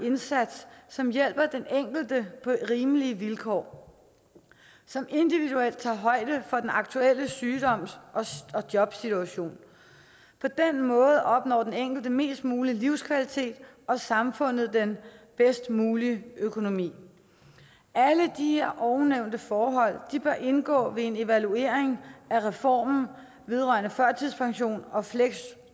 indsats som hjælper den enkelte på rimelige vilkår og som individuelt tager højde for den aktuelle sygdom og jobsituation på den måde opnår den enkelte mest mulig livskvalitet og samfundet den bedst mulige økonomi alle de her ovennævnte forhold bør indgå ved en evaluering af reformen vedrørende førtidspension og fleksjob